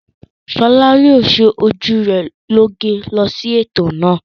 Ṣọlá yóò ṣe ojú rẹ̀ lóge lọ sí ètò náà.